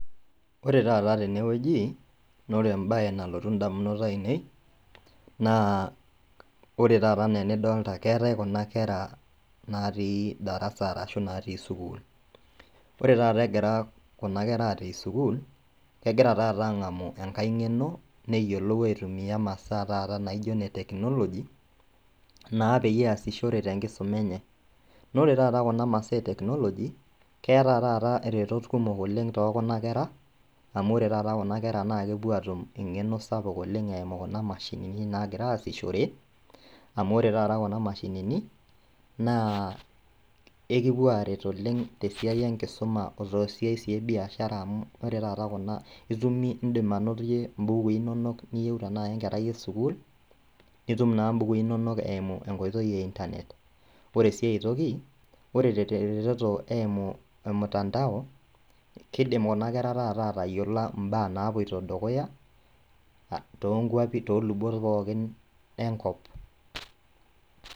Ore tata tenewueji naore embaye nalotu indamunot ainei naa ore tata anaa enidolta keetai kuna kera naatii  darasa arashu naatii sukuul. Ore tata egira kuna kera atii sukuul kegira tata ang'amu engai ng'eno neyiolou aitumia masaa taata naijo neteknoloji naa peyie easishore tenkisoma enye. Naore tata kuna masaa eteknoloji keeta taata iretot kumok oleng' tookuna kera amu ore tata kuna kera naakepuo atum eng'eno sapuk oleng' eimu kuna mashinini nagiraasishore, amu ore tata kuna mashinini naa ekipuo aret oleng' tesiai enkisuma otoosiai sii ebiashara amu ore tata kuna itumie, indim anotie imbukui inonok niyeuta nai enkerai esukul nitum naa imbukui inonok eimu enkoitoi eintanet. Ore sii aitoki, ore teretoto eimu olmutandao keidim kuna kera tata atayiolo imbaa napuoito dukuya ah toonkuapi toolubot pookin enkop.